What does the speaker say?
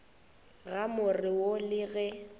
ga more wo le ge